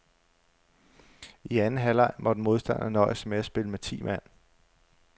I anden halvleg måtte modstanderne nøjes med at spille med ti mand.